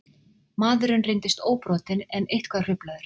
Maðurinn reyndist óbrotinn en eitthvað hruflaður